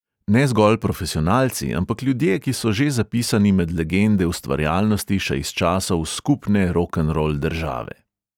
Ne zgolj profesionalci, ampak ljudje, ki so že zapisani med legende ustvarjalnosti še iz časov skupne rokenrol države.